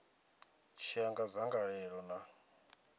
tshi ya nga dzangalelo ḽa